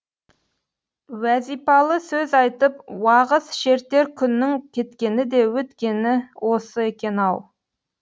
уәзипалы сөз айтып уағыз шертер күннің кеткені де өткені осы екен ау